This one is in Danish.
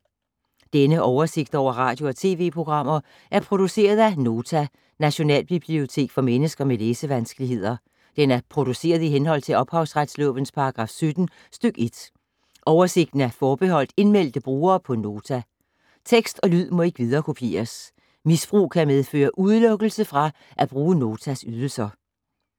Denne oversigt over radio og TV-programmer er produceret af Nota, Nationalbibliotek for mennesker med læsevanskeligheder. Den er produceret i henhold til ophavsretslovens paragraf 17 stk. 1. Oversigten er forbeholdt indmeldte brugere på Nota. Tekst og lyd må ikke viderekopieres. Misbrug kan medføre udelukkelse fra at bruge Notas ydelser.